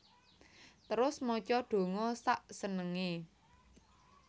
Terus maca donga sak senengé